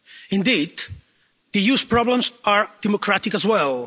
Indeed, the EU's problems are democratic as well.